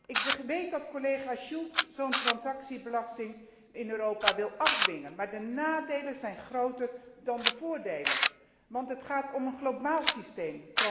Ik weet dat collega Schulz zo'n transactiebelasting in Europa wil afdwingen, maar de nadelen zijn groter dan de voordelen, want het gaat om een globaal systeem.